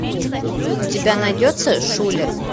у тебя найдется шулер